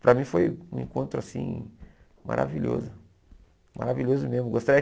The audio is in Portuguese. Para mim foi um encontro assim maravilhoso, maravilhoso mesmo. Gostaria